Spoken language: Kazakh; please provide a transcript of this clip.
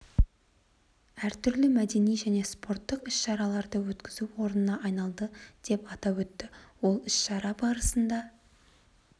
әр түрлі мәдени және спорттық іс-шараларды өткізу орнына айналады деп атап өтті ол іс-шара барысында